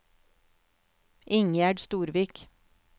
Ingjerd Storvik